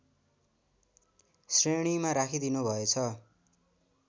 श्रेणीमा राखिदिनुभएछ